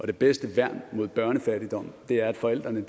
det bedste værn mod børnefattigdom er at forældrene